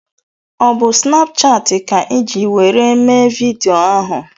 Ọ bụ Snapchati ka iji were mee vidịo ahụ?